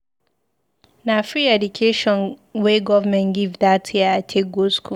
Na free education wey government give dat year I take go skool.